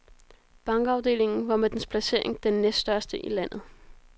Bankafdelingen var med dens placering den næststørste i landet.